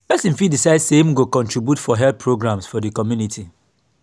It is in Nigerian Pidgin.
persin fit decide say im say im go contribute for health programmes for di community